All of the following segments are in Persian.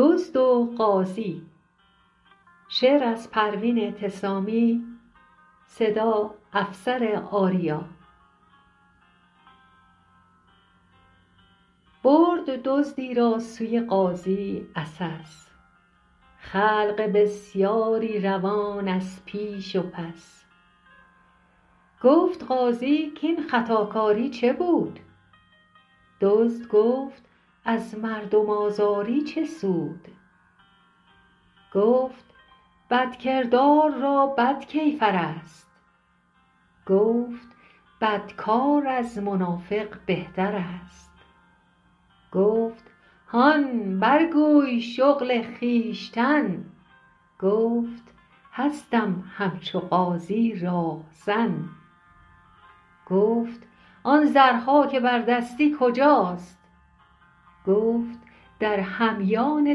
برد دزدی را سوی قاضی عسس خلق بسیاری روان از پیش و پس گفت قاضی کاین خطاکاری چه بود دزد گفت از مردم آزاری چه سود گفت بدکردار را بد کیفر است گفت بدکار از منافق بهتر است گفت هان بر گوی شغل خویشتن گفت هستم همچو قاضی راهزن گفت آن زرها که بردستی کجاست گفت در همیان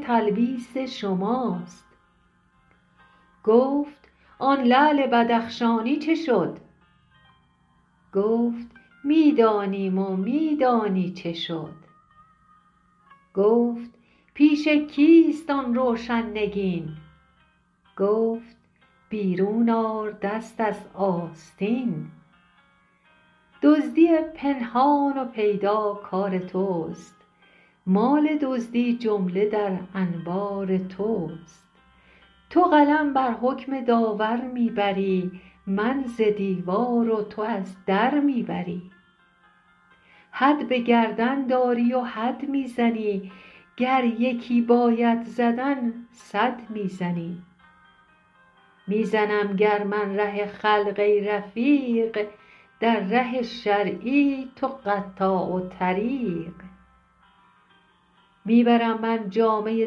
تلبیس شماست گفت آن لعل بدخشانی چه شد گفت می دانیم و می دانی چه شد گفت پیش کیست آن روشن نگین گفت بیرون آر دست از آستین دزدی پنهان و پیدا کار توست مال دزدی جمله در انبار توست تو قلم بر حکم داور می بری من ز دیوار و تو از در می بری حد به گردن داری و حد می زنی گر یکی باید زدن صد می زنی می زنم گر من ره خلق ای رفیق در ره شرعی تو قطاع الطریق می برم من جامه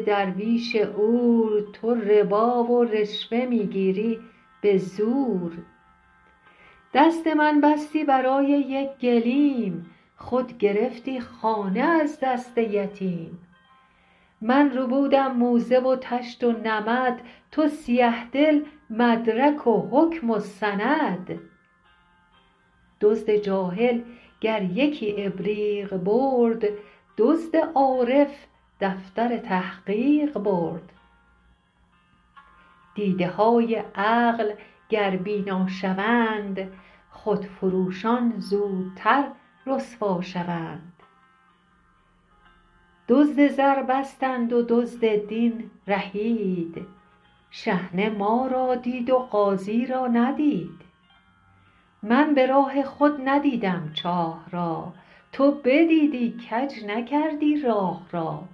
درویش عور تو ربا و رشوه می گیری به زور دست من بستی برای یک گلیم خود گرفتی خانه از دست یتیم من ربودم موزه و طشت و نمد تو سیه دل مدرک و حکم و سند دزد جاهل گر یکی ابریق برد دزد عارف دفتر تحقیق برد دیده های عقل گر بینا شوند خود فروشان زودتر رسوا شوند دزد زر بستند و دزد دین رهید شحنه ما را دید و قاضی را ندید من براه خود ندیدم چاه را تو بدیدی کج نکردی راه را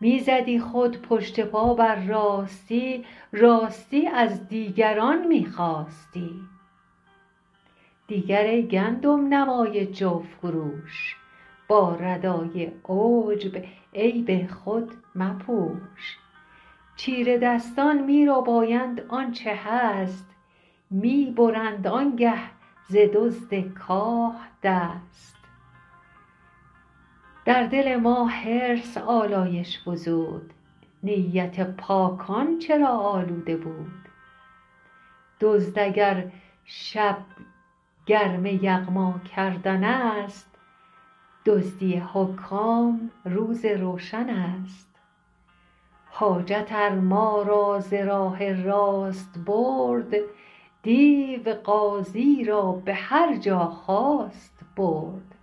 می زدی خود پشت پا بر راستی راستی از دیگران می خواستی دیگر ای گندم نمای جو فروش با ردای عجب عیب خود مپوش چیره دستان می ربایند آنچه هست می برند آنگه ز دزد کاه دست در دل ما حرص آلایش فزود نیت پاکان چرا آلوده بود دزد اگر شب گرم یغما کردن است دزدی حکام روز روشن است حاجت ار ما را ز راه راست برد دیو قاضی را به هرجا خواست برد